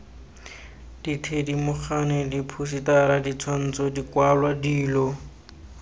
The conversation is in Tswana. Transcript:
dithedimogane diphousetara ditshwantsho dikwalwa dilo